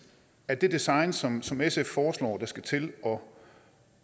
er det design som som sf foreslår der skal til for